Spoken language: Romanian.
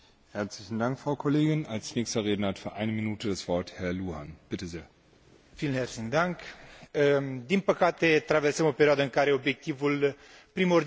Din păcate, traversăm o perioadă în care obiectivul primordial al companiilor care se lansează în lumea afacerilor este obținerea de profituri imediate și substanțiale.